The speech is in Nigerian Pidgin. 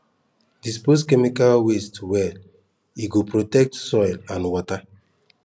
dispose chemical waste well e go protect soil and water